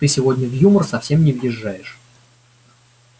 ты сегодня в юмор совсем не въезжаешь